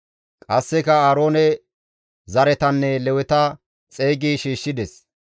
Qasseka Aaroone zaretanne Leweta xeygi shiishshides;